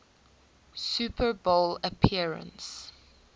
super bowl appearance